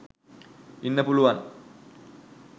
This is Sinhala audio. ඉන්න පුළුවන්.